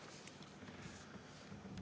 Kolm minutit lisaaega, palun!